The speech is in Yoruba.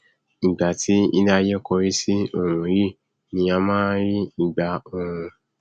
ìgbà tí iléaiyé kórí sí òòrùn yìí ni a máa nrí ìgbà ooru